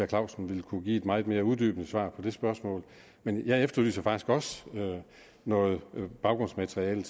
clausen ville kunne give et meget mere uddybende svar på det spørgsmål men jeg efterlyser faktisk også noget baggrundsmateriale